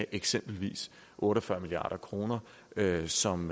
eksempelvis otte og fyrre milliard kr som